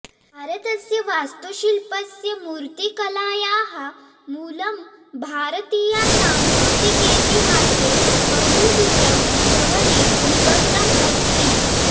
भारतस्य वास्तुशिल्पस्य मूर्तिकलायाः मूलं भारतीयासांस्कृतिकेतिहासे बहुदूरं गहने निबद्धम् अस्ति